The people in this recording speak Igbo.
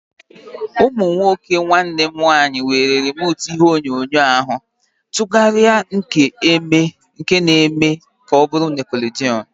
Ụmụ nwoke nwanne m nwaanyị were rimotu ihe onyonyo ahu ma tụgharịa nke na eme ka ọ bụrụ nickelodeon